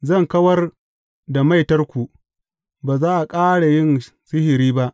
Zan kawar da maitarku, ba za a ƙara yin sihiri ba.